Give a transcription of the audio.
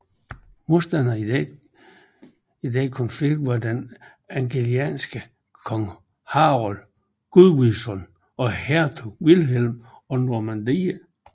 Modstanderne i denne konflikt var den angelsaksiske konge Harold Godwinson og hertug Vilhelm af Normandiet